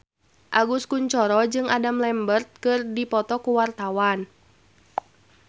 Agus Kuncoro jeung Adam Lambert keur dipoto ku wartawan